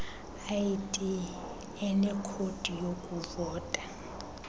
id enekhodi yokuvota